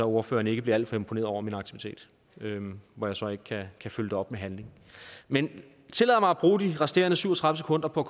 ordføreren ikke bliver alt for imponeret over min aktivitet hvor jeg så ikke kan følge det op med handling men tillad mig at bruge de resterende syv og tredive sekunder på